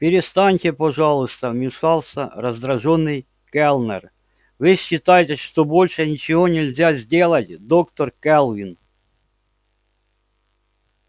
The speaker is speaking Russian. перестаньте пожалуйста вмешался раздражённый кэллнер вы считаете что больше ничего нельзя сделать доктор кэлвин